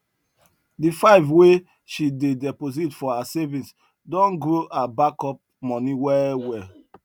the 5 wey she dey deposit for her savings don grow her back up money well well